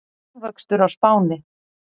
Hagvöxtur á Spáni